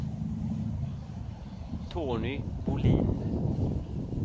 Tony Bolin